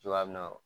Cogoya min na